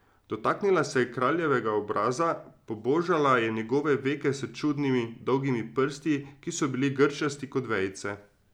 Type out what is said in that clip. Dotaknila se je kraljevega obraza, pobožala je njegove veke s čudnimi, dolgimi prsti, ki so bili grčasti kot vejice.